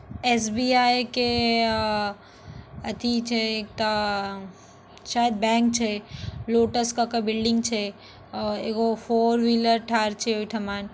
SBI के अ आथि छै त शायद बैंक छै। लोटस क क बिल्डिंग छै। अ एगो फोर व्हीलर ठार छै ओहठा म ।